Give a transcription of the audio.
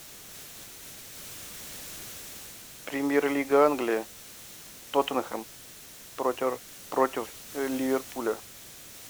премьер лига англии тоттенхэм против ливерпуля